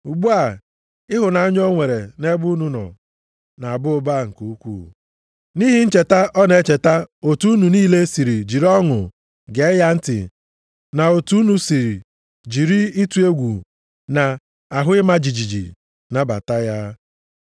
Ugbu a, ịhụnanya o nwere nʼebe unu nọ na-aba ụba nke ukwuu, nʼihi ncheta ọ na-echeta otu unu niile si jiri ọṅụ gee ya ntị na otu unu si jiri ịtụ egwu na ahụ ịma jijiji nabata ya.